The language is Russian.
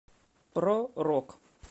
про рок